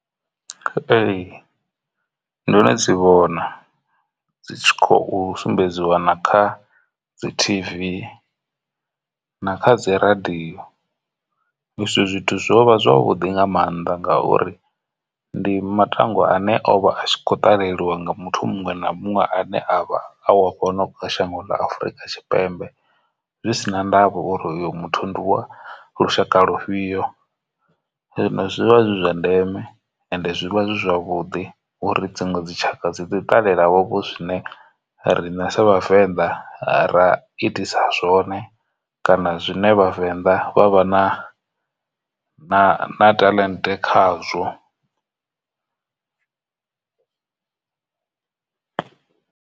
Ee, ndono dzi vhona dzi khou sumbedziwa na kha dzi t_v na kha dzi radio izwi zwithu zwo vha zwavhuḓi nga maanḓa ngauri ndi matangwa ane o vha a khou ṱalelwa nga muthu muṅwe na muṅwe ane a vha a wa fhano shango ḽa Afurika Tshipembe zwi si na ndavha uri uyu muthu ndi lwa lushaka lufhio. Zwino zwivha zwi zwa ndeme and zwi vha zwi zwavhuḓi uri dziṅwe dzi tshaka dzi ḓo i ṱalela vhovho zwine rine sa vhavenḓa ra itisa zwone kana zwine vhavenḓa vha vha na na talent khazwo.